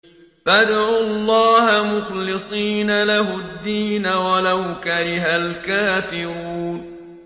فَادْعُوا اللَّهَ مُخْلِصِينَ لَهُ الدِّينَ وَلَوْ كَرِهَ الْكَافِرُونَ